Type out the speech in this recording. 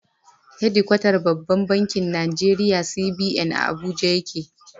Hedikwatar babban bankin Nigeria (CBN) a Abuja yake.